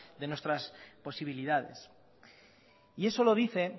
de nuestras posibilidades y eso lo dice